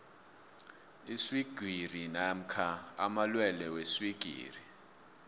iswigiri namkha amalwelwe weswigiri